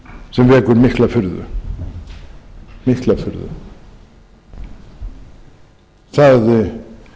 sem vekur mikla furðu það yrði ekki ónýtt